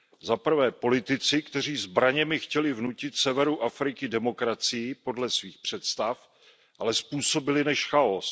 Zaprvé politici, kteří zbraněmi chtěli vnutit severu Afriky demokracii podle svých představ, ale způsobili než chaos.